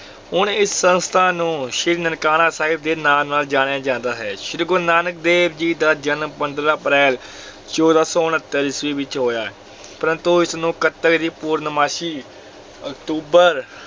ਹੁਣ ਇਸ ਸੰਸਥਾ ਨੂੰ ਸ੍ਰੀ ਨਨਕਾਣਾ ਸਾਹਿਬ ਦੇ ਨਾਂ ਨਾਲ ਜਾਣਿਆ ਜਾਂਦਾ ਹੈ, ਸ੍ਰੀ ਗੁਰੂ ਨਾਨਕ ਦੇਵ ਜੀ ਦਾ ਜਨਮ ਪੰਦਰਾਂ ਅਪ੍ਰੈਲ ਚੌਦਾਂ ਸੌ ਉਣੱਤਰ ਈਸਵੀ ਵਿੱਚ ਹੋਇਆ ਪਰੰਤੂ ਇਸ ਨੂੰ ਕੱਤਕ ਦੀ ਪੂਰਨਮਾਸ਼ੀ ਅਕਤੂਬਰ